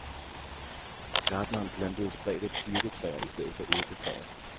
Gartneren plantede spredte birketræer i stedet for æbletræer.